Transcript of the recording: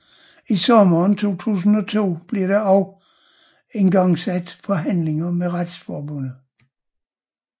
I sommeren 2002 blev der også igangsat forhandlinger med Retsforbundet